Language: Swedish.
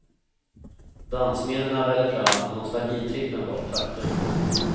Dansminnena väller fram och nostalgitrippen var ett faktum.